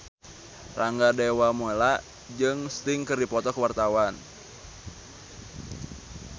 Rangga Dewamoela jeung Sting keur dipoto ku wartawan